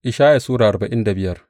Ishaya Sura arba'in da biyar